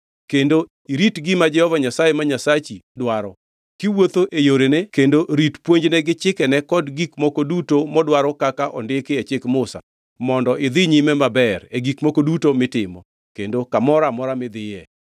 kendo irit gima Jehova Nyasaye ma Nyasachi dwaro: Kiwuotho e yorene kendo irit puonjne gi chikene kod gik moko duto modwaro kaka ondiki e chik Musa mondo idhi nyime maber e gik moko duto mitimo, kendo kamoro amora midhiye,